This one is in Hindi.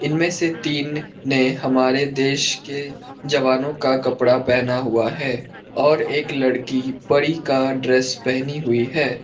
इनमें से तीन ने हमारे देश के जवानों का कपड़ा पहना हुआ है और एक लड़की परी का ड्रेस पहनी हुई है।